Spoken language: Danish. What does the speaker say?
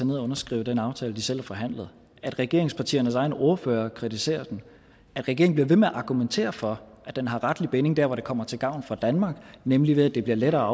ned og underskrive den aftale de selv har forhandlet at regeringspartiernes egne ordførere kritiserer den at regeringen bliver ved med at argumentere for at den har retlig binding der hvor det kommer til gavn for danmark nemlig ved at det bliver lettere